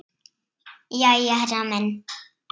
Jæja, herra minn.